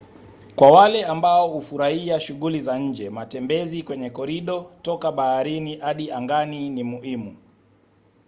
kwa wale ambao hufurahia shughuli za nje matembezi kwenye korido toka baharini hadi angani ni muhimu